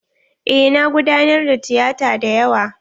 Eh na gudanar da tiyata dayawa.